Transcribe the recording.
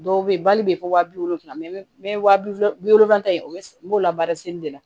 Dɔw bɛ yen bali bɛ fɔ wa bi wolonwula mɛ n bɛ wa bi wɔɔrɔ bi wolonfila ye o n b'o labaara seli de la